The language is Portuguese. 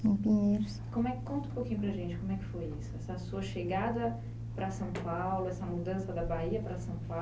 em pinheiros. Como é, conta um pouquinho para a gente como é que foi isso, essa sua chegada para São Paulo, essa mudança da Bahia para São Paulo.